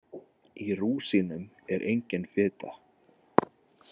Í rúsínum er engin fita.